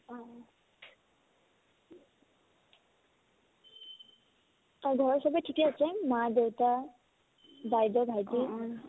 আৰু ঘৰৰ চবে ঠিকে আছে মা-দেউতা বাইদেউ ভাইটি